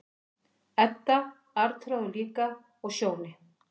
Edda, Arnþrúður líka, og Sjóni.